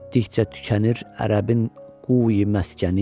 Yetdikcə tükənir ərəbin quyu məskəni.